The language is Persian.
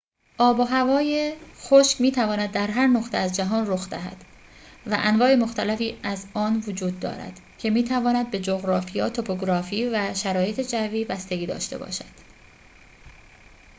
آب و هوای خشک می تواند در هر نقطه از جهان رخ دهد و انواع مختلفی از آن وجود دارد که می تواند به جغرافیا توپوگرافی و شرایط جوی بستگی داشته باشد